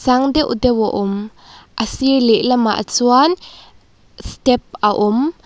sang deuh deuh a awm a sir lehlamah chuan step a awm.